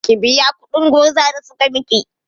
Ki biya kuɗin gurza da suka miki!